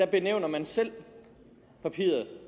benævner man selv papiret